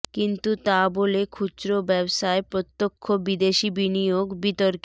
কিন্তু তা বলে খুচরো ব্যবসায় প্রত্যক্ষ বিদেশি বিনিয়োগ বিতর্কে